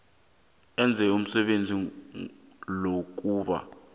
enze umsebenzi wokuba